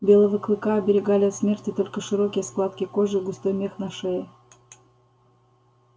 белого клыка оберегали от смерти только широкие складки кожи и густой мех на шее